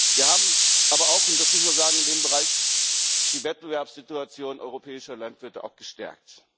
Wir haben aber auch und das muss man sagen in dem Bereich die Wettbewerbssituation europäischer Landwirte gestärkt.